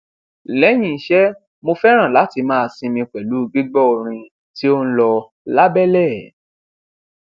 lẹyìn iṣẹ mo fẹràn láti máa sinmi pẹlú gbígbọ orin tí ó ń lọ lábẹlẹ